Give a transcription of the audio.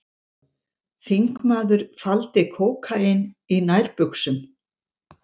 Þingmaður faldi kókaín í nærbuxum